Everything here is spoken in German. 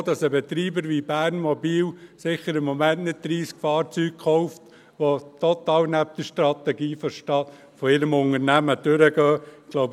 Ich denke auch, dass ein Betreiber wie Bernmobil im Moment sicher nicht 30 Fahrzeuge, die der Strategie des Unternehmens total entgegenlaufen, kaufen wird.